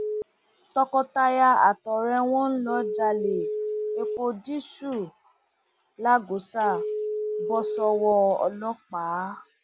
tọkọtaya àtọrẹ wọn tó ń jalè epo dììsù lagọsà bọ sọwọ ọlọpàá